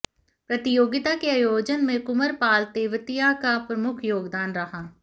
प्रतियोगिता के आयोजन में कुमरपाल तेवतिया का प्रमुख योगदान रहा